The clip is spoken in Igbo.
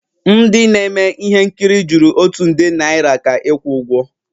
M ndị na-eme ihe nkiri jụrụ otu nde naira ka ịkwụ ụgwọ